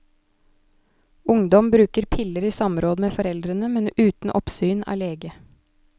Ungdom bruker piller i samråd med foreldrene, men uten oppsyn av lege.